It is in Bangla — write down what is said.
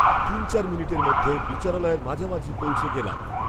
তিন চার মিনিটের মধ্যে বিচারালয়ের মাঝামাঝি পৌঁছে গেলাম